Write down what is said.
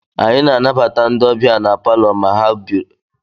Anyị na-anabata ndị ọbịa na Palọ ma ha bịarutere n'ụlọ anyị